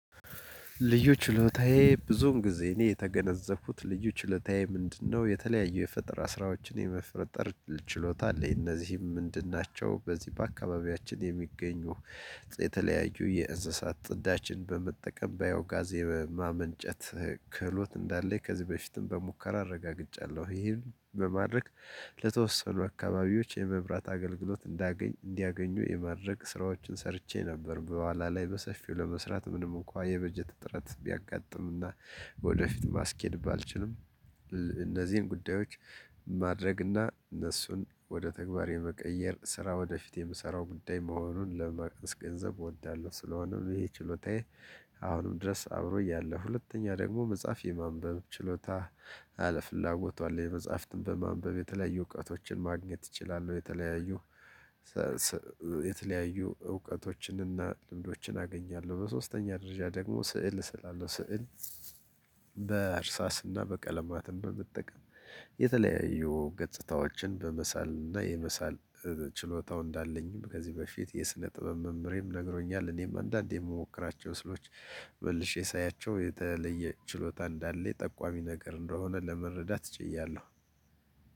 ልዩ ችሎታዬ ብዙውን ጊዜ እኔ የተገነዘብኩት ልዩ ችሎታዬ ምንድነው? የተለያዩ የፈጠራ ስራዎችን የመፍጠር ችሎታ አለኝ እነዚህም ምንድን ናቸው? በዚህ በአካባቢያችን የሚገኙ የተለያዩ የእንስሳት ጥዳችን በመጠቀም ባዮ ጋዝ የማመንጨት ክህሎት እንዳለኝ ከዚህ በፊትም በሙከራ አረጋግጫለሁ ይህን በማድረግ። ለተወሰኑ አካባቢዎች የመብራት አገልግሎት እንዲያገኙ የማድረግ ስራዎችን ሰርቼ ነበር። በኋላ ላይ በሰፊው ለመስራት ምንም እንኳን የበጀት እጥረት ቢያጋጥምና ወደፊት ማስኬድ ባልችልም። እነዚህን ጉዳዮች ማድረግና እነሱን ወደ ተግባር የመቀየር ስራ ወደፊት የምሰራው ጉዳይ መሆኑን ለማስ ገንዘብ እወዳለሁ። ስለሆነም ይሄ ችሎታዬ። አሁንም ድረስ አብሮኝ ያለ ሁለተኛ ደግሞ መጽሐፍ የማንበብ ችሎታ ፍላጎቱ አለ መጽሐፍትን በማንበብ የተለያዩ እውቀቶችን ማግኘት እችላለሁ። የተለያዩ እውቀቶችንና ልምዶችን አገኛለሁ። በሶስተኛ ደረጃ ደግሞ ስዕል እስላለሁ ስዕል። እርሳስና ቀለማትን በመጠቀም የተለያዩ ገጽታዎችን በመሳል እና የመሳል ችሎታው እንዳለኝም ከዚህ በፊት የስነ ጥበብ መምህሬም ነግሮኛል። እኔም አንዳንዴ እምሞክራቸው ስዕሎች። መልሼ ሳያቸው የተለየ ችሎታ እንዳለኝ ጠቋሚ ነገር እንደሆነ ለመረዳት ችያለሁ።